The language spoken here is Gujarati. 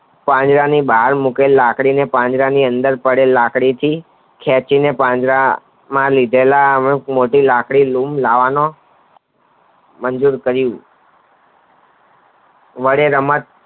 પાંજરાની બહાર મુકેલી લાકડી ને પાંજરાની અંદર પડેલ લાકડી થી ખેંચી ને પાંજરામાં લીધેલા એક મોટી લાકડી લય લૂમ લાવેલો મંજુર કરી વડે રમત